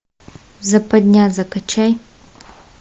западня закачай